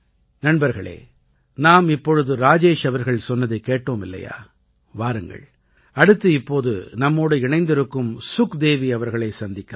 நண்பர்களே நாம் இப்பொழுது ராஜேஷ் அவர்கள் சொன்னதைக் கேட்டோம் இல்லையா வாருங்கள் அடுத்து இப்போது நம்மோடு இணைந்திருக்கும் சுக்தேவி அவர்களைச் சந்திக்கலாம்